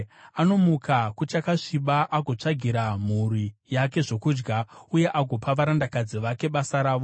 Anomuka kuchakasviba; agotsvagira mhuri yake zvokudya uye agopa varandakadzi vake basa ravo.